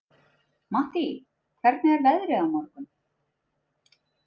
Mattý, hvernig er veðrið á morgun?